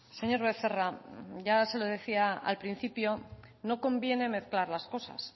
señor becerra ya se lo decía al principio no conviene mezclar las cosas